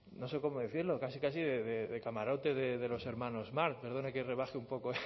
no sé cómo decirlo casi casi de camarote de los hermanos marx perdone que rebaje un poco